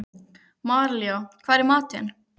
Maríella, hvað er í matinn?